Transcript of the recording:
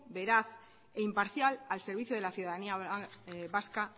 veraz e imparcial al servicio de la ciudadanía vasca